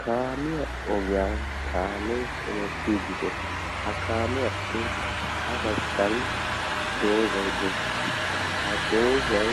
kaamiya ogiyan kaamee unettiiddide ha kaamiyaappe ha baggan doozay dees ha doozay